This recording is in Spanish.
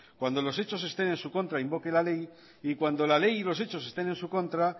cuando los hechos estén en su contra invoque la ley y cuando la ley y los hechos estén en su contra